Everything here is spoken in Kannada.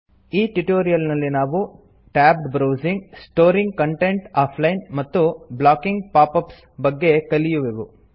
ಈ ಟ್ಯುಟೋರಿಯಲ್ ನಲ್ಲಿ ನಾವು tabbed browsing storing content offline ಮತ್ತು ಬ್ಲಾಕಿಂಗ್ ಪಾಪ್ ಅಪ್ಸ್ ಬಗ್ಗೆ ಕಲಿಯುವೆವು